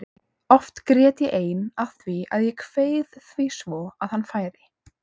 Oft grét ég ein af því að ég kveið því svo að hann færi.